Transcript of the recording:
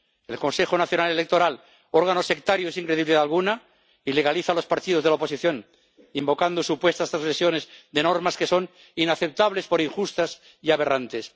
El Consejo Nacional Electoral, órgano sectario y sin credibilidad alguna, ilegaliza a los partidos de la oposición, invocando supuestas trasgresiones de normas que son inaceptables por injustas y aberrantes.